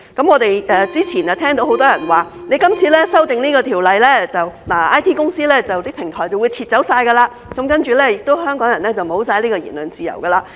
我們之前聽到很多人表示，經這次修例後 ，IT 公司、平台便會全部撤走，然後香港人亦會完全沒有言論自由。